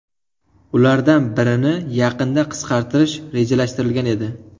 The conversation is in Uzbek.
Ulardan birini yaqinda qisqartirish rejalashtirilgan edi.